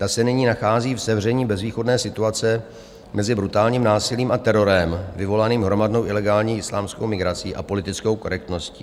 Ta se nyní nachází v sevření bezvýchodné situace mezi brutálním násilím a terorem, vyvolaným hromadnou ilegální islámskou migrací a politickou korektností.